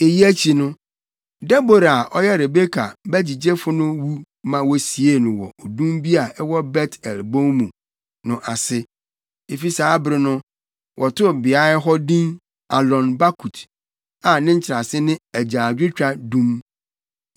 Eyi akyi no, Debora a ɔyɛ Rebeka bagyigyefo no wu ma wosiee no wɔ odum bi a ɛwɔ Bet-El bon mu no ase. Efi saa bere no, wɔtoo beae hɔ din Alon-Bakut, a ne nkyerɛase ne Agyaadwotwa Dum.